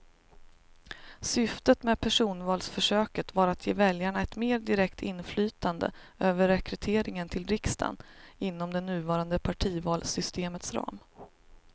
Syftet med personvalsförsöket var att ge väljarna ett mer direkt inflytande över rekryteringen till riksdagen inom det nuvarande partivalssystemets ram.